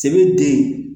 Se bɛ den